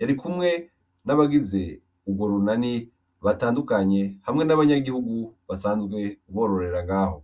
yari kumwe n'abagize urwo runani batandukanye hamwe n'abanyagihugu basanzwe bororera ngaho.